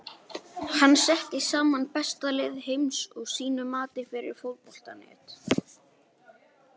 Hann setti saman besta lið heims að sínu mati fyrir Fótbolta.net.